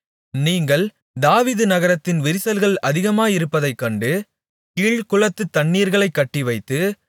நீங்கள் தாவீது நகரத்தின் விரிசல்கள் அநேகமாயிருப்பதைக் கண்டு கீழ்க்குளத்துத் தண்ணீர்களைக் கட்டிவைத்து